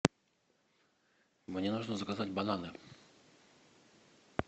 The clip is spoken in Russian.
мне нужно заказать бананы